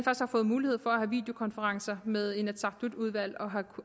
har fået mulighed for at have videokonferencer med inatsisartutudvalg og